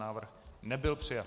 Návrh nebyl přijat.